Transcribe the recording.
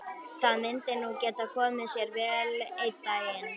Það myndi nú geta komið sér vel einn daginn.